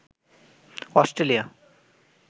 Australia